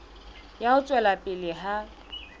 ya ho tswela pele ha